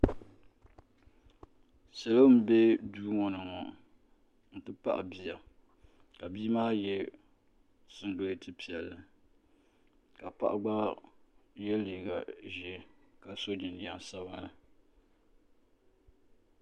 salo m-be duu ŋɔ ni ŋɔ n-ti pahi bia ka bia maa ye singileti piɛlli ka paɣa gba ye liiga ʒee ka sɔ jinjam sabinli.